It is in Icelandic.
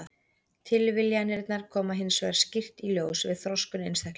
Tilviljanirnar koma hins vegar skýrt í ljós við þroskun einstaklinga.